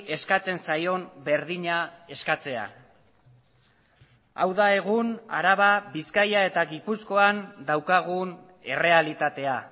eskatzen zaion berdina eskatzea hau da egun araba bizkaia eta gipuzkoan daukagun errealitatea